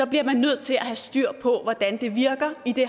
bliver man nødt til at have styr på hvordan det virker i det